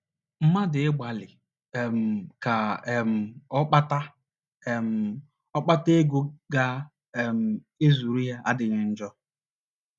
Mmadụ ịgbalị um ka um ọ kpata um ọ kpata ego ga um - ezuru ya adịghị njọ.